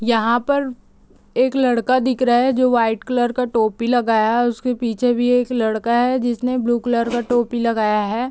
यहाँ पर एक लड़का दिख रहा है जो वाइट कलर का टोपी लगाया है उसके पीछे भी एक लड़का है जिसने ब्लू कलर का टोपी लगाया है ।